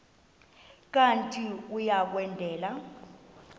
kanti uia kwendela